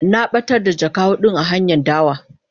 Na batar da jaka hudun a hanyan dawa.